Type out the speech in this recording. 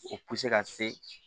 O ka se